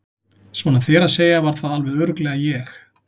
Svona þér að segja var það alveg örugglega ég